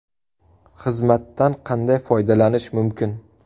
Xizmatdan qanday foydalanish mumkin?